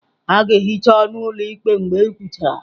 A ga-ehicha ọnụ ụlọ ụlọ ikpe ma e kwuchara.